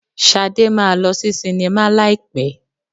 Shade máa lọ sí sinimá láì pẹ́.